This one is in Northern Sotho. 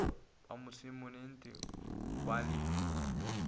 ba masomennetee o ba le